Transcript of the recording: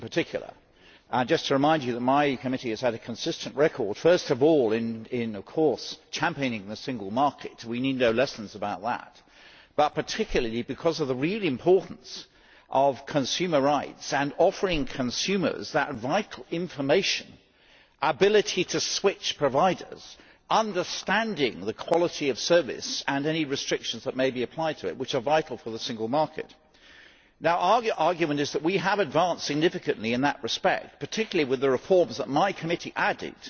I would just remind you that my committee has had a consistent record, first of all in championing the single market we need no lessons about that but particularly because of the real importance of consumer rights and offering consumers that vital information the ability to switch providers, and understanding the quality of service and any restrictions that may be applied to it, which are vital for the single market. Our argument is that we have advanced significantly in that respect, particularly with the reforms that my committee added